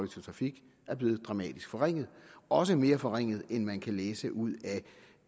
trafik er blevet dramatisk forringet også mere forringet end man kan læse ud af